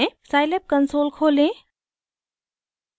scilab console खोलें